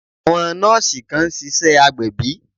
Àwọn nọ́ọ̀sì kan ń ṣiṣẹ́ agbẹ̀bí